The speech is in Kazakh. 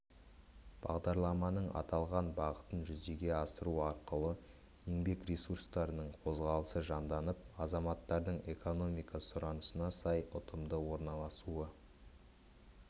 бағдарламаның аталған бағытын жүзеге асыру арқылы еңбек ресурстарының қозғалысы жанданып азаматтардың экономика сұранысына сай ұтымды орналасуы